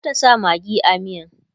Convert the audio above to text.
e zata sa maggi a miyan